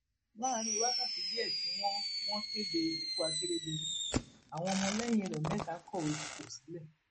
láàrin wákàtí díẹ tí wọn wọn kéde ikú akérèdọlù àwọn ọmọlẹyìn rẹ mẹta kọwé fipò sílẹ